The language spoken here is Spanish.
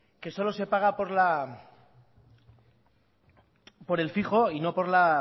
que solo se paga por el fijo y no por la